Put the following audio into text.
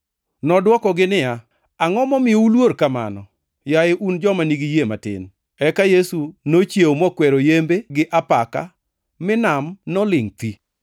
Nodwokogi niya, “Angʼo momiyo uluor kamano, yaye un joma nigi yie matin?” Eka Yesu nochiewo mokwero yembe gi apaka, mi nam nolingʼ thi.